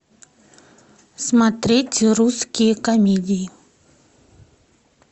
смотреть русские комедии